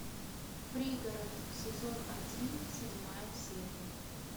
пригород сезон один седьмая серия